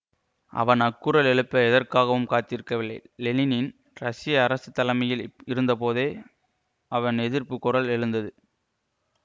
அவன் அக்குரல் எழுப்ப எதற்காகவும் காத்திருக்கவில்லை லெனின்யின் ரசிய அரசு தலைமையில் இருந்தபோதே அவன் எதிர்ப்பு குரல் எழுந்தது